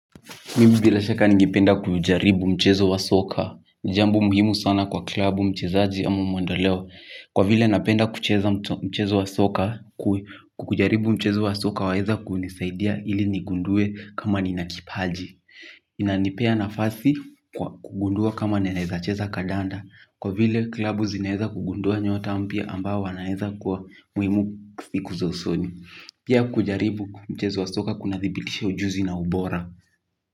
Mimi bila shaka ningependa kujaribu mchezo wa soka. Ni jambo muhimu sana kwa klabu mchezaji ama mwendeleo. Kwa vile napenda kucheza mchezo wa soka kujaribu mchezo wa soka waeza kunisaidia ili nigundue kama nina kipaji. Inanipea nafasi kwa kugundua kama naeza cheza kandanda. Kwa vile klabu zinaeza kugundua nyota mpya ambao wanaeza kwa muhimu siku za usoni. Pia kujaribu mchezo wa soka kunadhibitisha ujuzi na ubora.